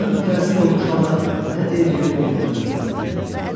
Mən mütəəssir olmuş halda nə deyəcəyimi bilmədən səsləndim: